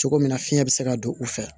Cogo min na fiɲɛ bɛ se ka don u fɛ